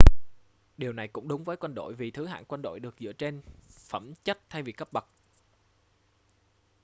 điều này cũng đúng với quân đội vì thứ hạng quân đội được dựa trên phẩm chất thay vì cấp bậc